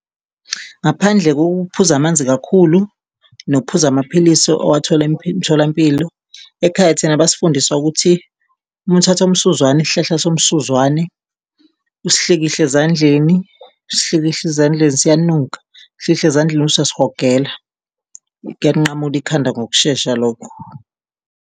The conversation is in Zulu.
Ngaphandle kokuphuza amanzi kakhulu nokuphuza amaphilisi owathola emitholampilo, ekhaya thina basifundisa ukuthi uma uthatha umsuzwane, isihlahla somsuzwane usihlikihle ezandleni, usihlikihle ezandleni, siyanuka, usihlikihle ezandleni bese uyasihogela, kuyalinqamula ikhanda ngokushesha lokho.